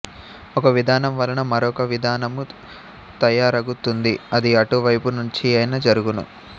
ఒక విధానం వలన మరొక విధానము తయారగుతుంది ఆది అటు వైపు నుంచియైనా జరగును